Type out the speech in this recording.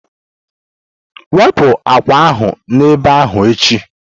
Wepụ akpa ahụ n'ebe ahụ echi!